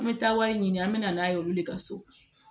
An bɛ taa wari ɲini an bɛ na n'a ye olu de ka so